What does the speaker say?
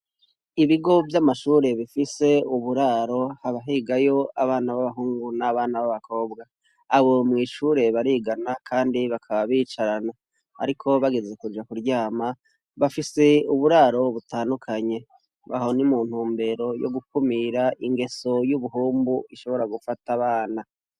Ibigo vy'amashure bifise uburaro, hakaba higayo abana b'abahungu n'abakobwa. Abo mw'ishure barigana, kandi bakaba bicarana. Ariko bageze kja kurama bafise uburaro butandukanye . Aho ni mu ntumbero yo gukumira ingeso y'ubuhumbu ishobora gufata abana.